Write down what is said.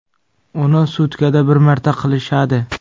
Uni sutkada bir marta qilishadi.